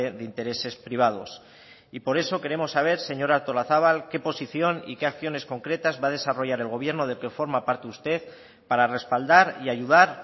de intereses privados y por eso queremos saber señora artolazabal qué posición y qué acciones concretas va a desarrollar el gobierno del que forma parte usted para respaldar y ayudar